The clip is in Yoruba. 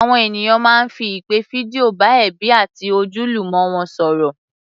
Àwọn ènìyàn máa ń fi ìpè fídíò bá ẹbí àti ojúlùmọ̀ wọn sọ̀rọ̀